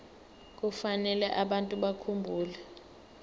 kufanele abantu bakhumbule